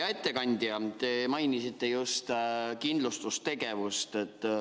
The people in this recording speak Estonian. Hea ettekandja, te mainisite just kindlustustegevust.